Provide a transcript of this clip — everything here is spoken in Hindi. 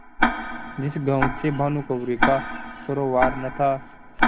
जिस गॉँव से भानुकुँवरि का सरोवार न था